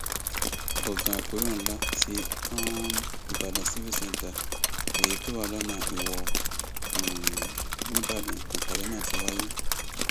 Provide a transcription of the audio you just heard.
gbọngàn àpérò ńlá tí um ìbàdàn civic centre èyí tó wà lọnà iwọ um nìbàdàn nípàdé náà ti wáyé